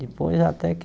Depois até que...